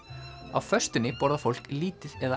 á föstunni borðar fólk lítið eða